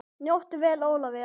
Helst eru þetta allt smámál.